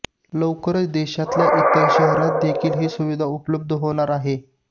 लवकरच देशातल्या इतर शहरांतदेखील ही सुविधा उपलब्ध होणार आहे